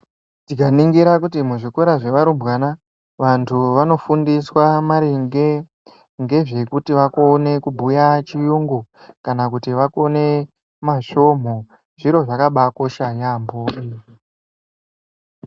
Tikaringira kuti muzvikora zvevarumbwana vantu vanofundiswa maringe ngezvekuti vakone kubhuya chiyungu. Kana kuti vakone masvomho zviro zvakabakosha yaamho izvi.